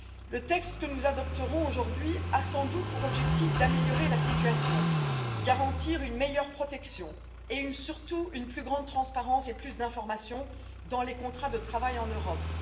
Le texte que nous adopterons aujourd'hui a sans doute pour objectif d'améliorer la situation, de garantir une meilleure protection et, surtout, une plus grande transparence et plus d'informations dans les contrats de travail en Europe.